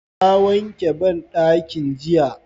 Na wanke banɗaki ɗin jiya.